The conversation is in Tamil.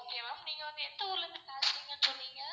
okay ma'am நீங்க வந்து எந்த ஊர்ல இருந்து பேசுறீங்கனு சொன்னீங்க?